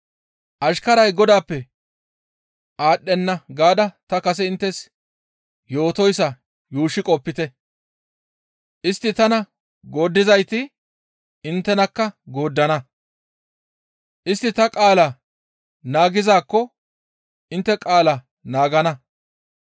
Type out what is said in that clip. ‹Ashkaray godaappe aadhdhenna› gaada ta kase inttes yootoyssa yuushshi qopite; istti tana gooddizayti inttenakka gooddana; istti ta qaalaa naagizaakko intte qaala naagana.